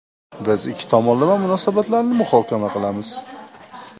Biz ikki tomonlama munosabatlarni muhokama qilamiz.